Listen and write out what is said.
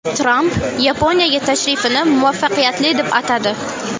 Tramp Yaponiyaga tashrifini muvaffaqiyatli deb atadi.